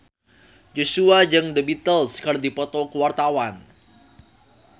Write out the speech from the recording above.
Joshua jeung The Beatles keur dipoto ku wartawan